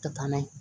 Ka taa n'a ye